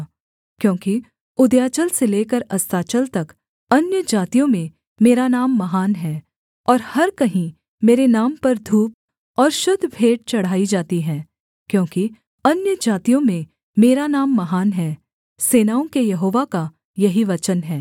क्योंकि उदयाचल से लेकर अस्ताचल तक अन्यजातियों में मेरा नाम महान है और हर कहीं मेरे नाम पर धूप और शुद्ध भेंट चढ़ाई जाती है क्योंकि अन्यजातियों में मेरा नाम महान है सेनाओं के यहोवा का यही वचन है